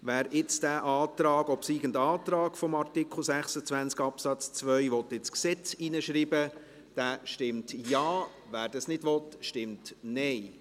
Wer jetzt diesen obsiegenden Antrag zu Artikel 26 Absatz 2 ins Gesetz hineinschreiben will, stimmt Ja, wer dies nicht will, stimmt Nein.